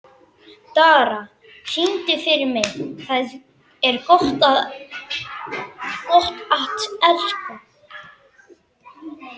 Dara, syngdu fyrir mig „Tað er gott at elska“.